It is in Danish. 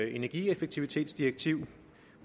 energieffektivitetsdirektiv